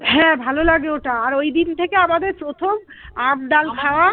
হ্যাঁ ভালো লাগে ওটা আর ওই দিন থেকে আমাদের প্রথম আম ডাল